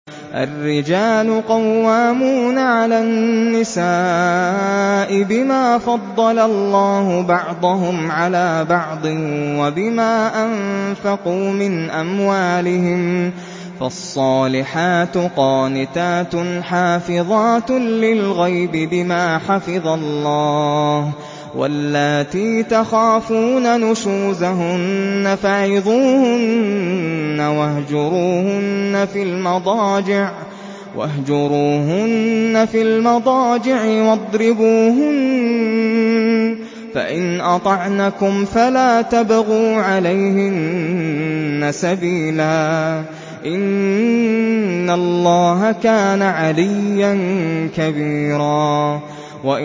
الرِّجَالُ قَوَّامُونَ عَلَى النِّسَاءِ بِمَا فَضَّلَ اللَّهُ بَعْضَهُمْ عَلَىٰ بَعْضٍ وَبِمَا أَنفَقُوا مِنْ أَمْوَالِهِمْ ۚ فَالصَّالِحَاتُ قَانِتَاتٌ حَافِظَاتٌ لِّلْغَيْبِ بِمَا حَفِظَ اللَّهُ ۚ وَاللَّاتِي تَخَافُونَ نُشُوزَهُنَّ فَعِظُوهُنَّ وَاهْجُرُوهُنَّ فِي الْمَضَاجِعِ وَاضْرِبُوهُنَّ ۖ فَإِنْ أَطَعْنَكُمْ فَلَا تَبْغُوا عَلَيْهِنَّ سَبِيلًا ۗ إِنَّ اللَّهَ كَانَ عَلِيًّا كَبِيرًا